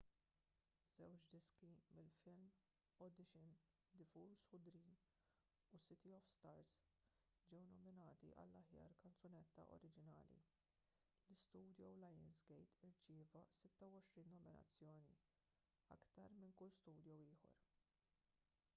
żewġ diski mill-film audition the fools who dream u city of stars ġew nominati għall-aħjar kanzunetta oriġinali. l-istudio lionsgate irċieva 26 nominazzjoni — aktar minn kull studio ieħor